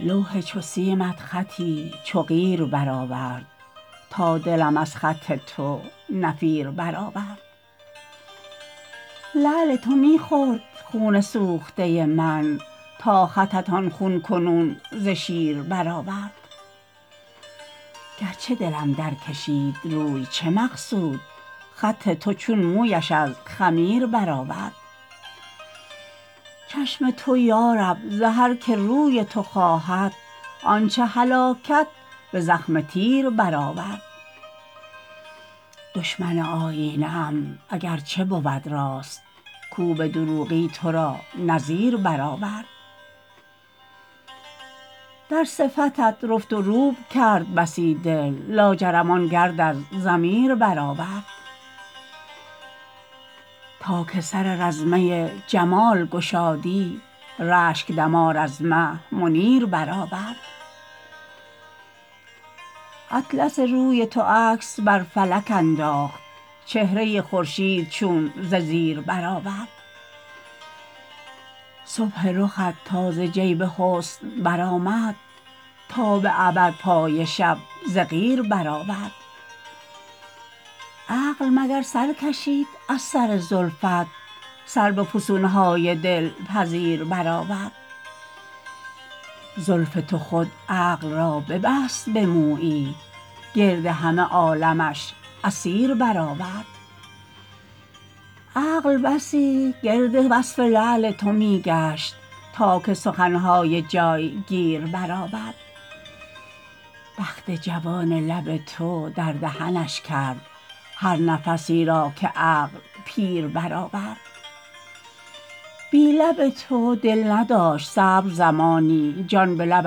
لوح چو سیمت خطی چو قیر بر آورد تا دلم از خط تو نفیر بر آورد لعل تو می خورد خون سوخته من تا خطت آن خون کنون ز شیر بر آورد گرچه دلم در کشید روی ز مقصود خط تو چون مویش از خمیر بر آورد چشم تو یارب ز هر که روی تو خواهد آنچه هلاکت به زخم تیر بر آورد دشمن آیینه ام اگرچه بود راست کو به دروغی تو را نظیر بر آورد در صفتت رفت و روب کرد بسی دل لاجرم آن گرد از ضمیر بر آورد تا که سر رزمه جمال گشادی رشک دمار از مه منیر بر آورد اطلس روی تو عکس بر فلک انداخت چهره خورشید چون ز زیر برآورد صبح رخت تا ز جیب حسن برآمد تا به ابد پای شب ز قیر بر آورد عقل مگر سر کشید از سر زلفت سر به فسون های دلپذیر بر آورد زلف تو خود عقل را ببست به مویی گرد همه عالمش اسیر بر آورد عقل بسی گرد وصف لعل تو می گشت تا که سخن های جای گیر بر آورد بخت جوان لب تو در دهنش کرد هر نفسی را که عقل پیر بر آورد بی لب تو دل نداشت صبر زمانی جان به لب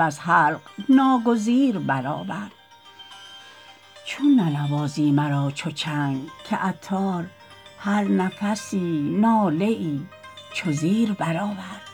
از حلق ناگزیر بر آورد چون ننوازی مرا چو چنگ که عطار هر نفسی ناله ای چو زیر بر آورد